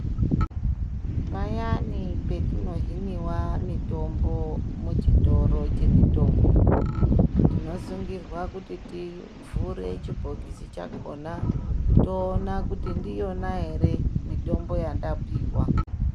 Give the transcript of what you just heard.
Payani petinohiniva mitombo muchitoro chemitombo. Tinosungirwa kuti tivhure chibhokisi chakona toona kuti ndiyona ere mitombo yandapiva.